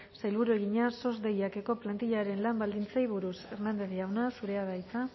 sailburuari egina sos deiakeko plantillaren lan baldintzei buruz hernández jauna zurea da hitza